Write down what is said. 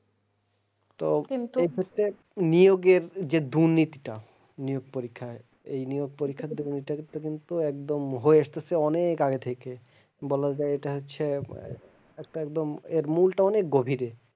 তো এই ক্ষেত্রে নিয়োগের যে দুর্নীতিটা নিয়োগ পরীক্ষায়, এই নিয়োগ পরীক্ষার দুর্নীতিটাকে কিন্তু একদম হয়ে আস্তেছে অনেক আগে থেকে বলা যায় এটা হচ্ছে একটা একদম এর মূলটা অনেক গভীরে।